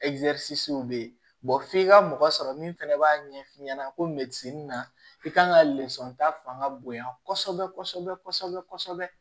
bɛ yen f'i ka mɔgɔ sɔrɔ min fɛnɛ b'a ɲɛf'i ɲɛna ko na i kan ka ta fanga bonya kɔsɛbɛ kɔsɛbɛ kɔsɛbɛ kɔsɛbɛ